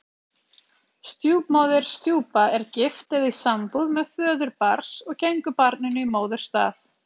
Stjúpmóðir, stjúpa, er gift eða í sambúð með föður barns og gengur barninu í móðurstað.